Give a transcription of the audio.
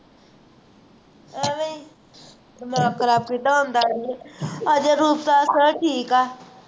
ਐਂਵੇਂ ਹੀ ਦਿਮਾਗ ਖ਼ਰਾਬ ਕਿੱਤਾ ਹੁੰਦਾ ਹੈ ਇੰਨਾ sir ਨੇ ਠੀਕ ਹੈ